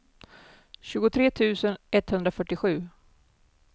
tjugotre tusen etthundrafyrtiosju